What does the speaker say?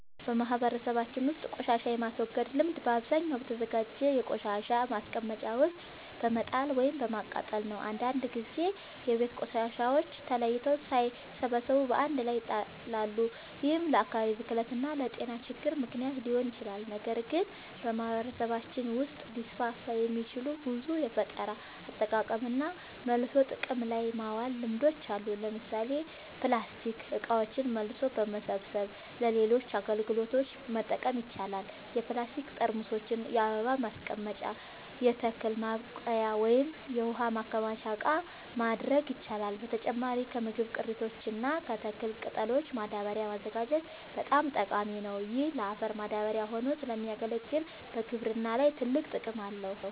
በማህበረሰባችን ውስጥ ቆሻሻን የማስወገድ ልምድ በአብዛኛው በተዘጋጀ የቆሻሻ ማስቀመጫ ውስጥ በመጣል ወይም በማቃጠል ነው። አንዳንድ ጊዜ የቤት ቆሻሻዎች ተለይተው ሳይሰበሰቡ በአንድ ላይ ይጣላሉ፤ ይህም ለአካባቢ ብክለት እና ለጤና ችግሮች ምክንያት ሊሆን ይችላል። ነገር ግን በማህበረሰባችን ውስጥ ሊስፋፉ የሚችሉ ብዙ የፈጠራ አጠቃቀምና መልሶ ጥቅም ላይ ማዋል ልምዶች አሉ። ለምሳሌ ፕላስቲክ እቃዎችን መልሶ በመሰብሰብ ለሌሎች አገልግሎቶች መጠቀም ይቻላል። የፕላስቲክ ጠርሙሶችን የአበባ ማስቀመጫ፣ የተክል ማብቀያ ወይም የውሃ ማከማቻ እቃ ማድረግ ይቻላል። በተጨማሪም ከምግብ ቅሪቶች እና ከተክል ቅጠሎች ማዳበሪያ ማዘጋጀት በጣም ጠቃሚ ነው። ይህ ለአፈር ማዳበሪያ ሆኖ ስለሚያገለግል በግብርና ላይ ትልቅ ጥቅም ያመጣል።